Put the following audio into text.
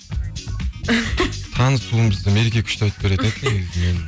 танысуымызды мереке күшті айтып беретін еді негізі